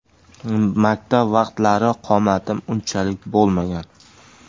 Maktab vaqtlari qomatim unchalik bo‘lmagan”.